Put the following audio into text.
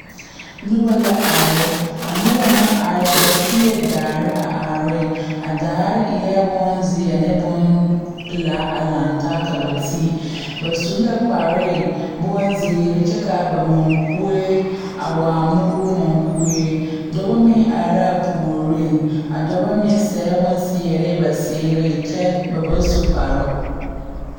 Noba la are a noba na are ba tie daare a are a daare eɛ bonzeɛ ne bompelaa a lantaa ka ba ti ba su la kparee bonziiri kyɛ ka ba mɔŋkue a waa moore mɔŋkue dɔbɔ meŋ are la a puoriŋ a dɔbɔ meŋ seɛ bonseɛre ba seereŋ kyɛ ba ba su kparoo.